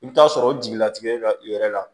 I bɛ taa sɔrɔ o jigilatigɛ la i yɛrɛ la